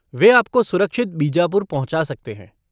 वे आपको सुरक्षित बीजापुर पहुँचा सकते हैं।